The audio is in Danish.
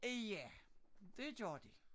Ja det gjorde de